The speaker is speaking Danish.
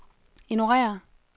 ignorér